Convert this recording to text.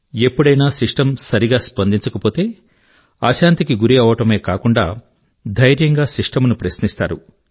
ఎప్పుడైనా సిస్టమ్ సరిగా స్పందించక పోతే అశాంతికి గురి అవడమే కాక ధైర్యంగా సిస్టమ్ ను ప్రశ్నిస్తారు